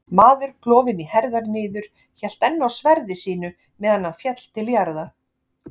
Maður klofinn í herðar niður hélt enn á sverði sínu meðan hann féll til jarðar.